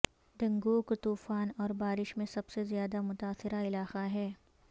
ڈنگوگ طوفان اور بارش میں سب سے زیادہ متاثرہ علاقہ ہے